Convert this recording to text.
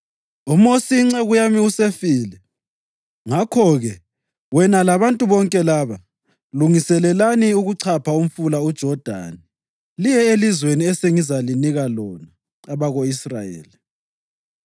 “UMosi inceku yami usefile. Ngakho-ke, wena labantu bonke laba, lungiselelani ukuchapha umfula uJodani liye elizweni esengizalinika lona, abako-Israyeli.